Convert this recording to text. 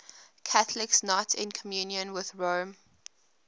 catholics not in communion with rome